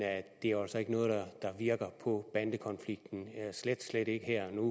det er altså ikke noget der virker på bandekonflikten slet ikke her og